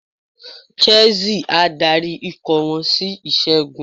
Chelsea á darí ikọ̀ wọn sí ìṣẹ́gun.